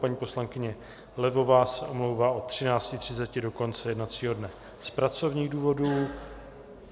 Paní poslankyně Levová se omlouvá od 13.30 do konce jednacího dne z pracovních důvodů.